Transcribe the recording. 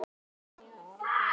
Það var líka hún.